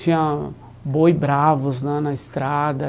Tinha boi bravos lá na estrada.